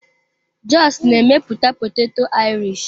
Jos na-emepụta poteto Irish.